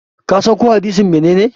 kasan ko hadisi menene?